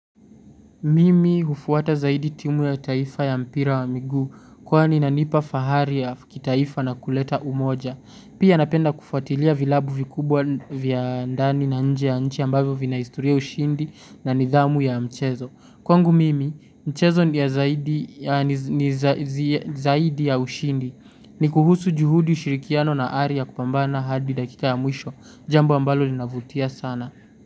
Mimi hufuata zaidi timu ya taifa ya mpira wa miguu kwa inananipa fahari ya kitaifa na kuleta umoja. Pia napenda kufuatilia vilabu vikubwa vya ndani na nje ya nchi ambavyo vina historia ya ushindi na nidhamu ya mchezo. Kwangu mimi mchezo ni zaidi ya ushindi ni kuhusu juhudi ushirikiano na ari ya kupambana hadi dakika ya mwisho jambo ambalo linavutia sana.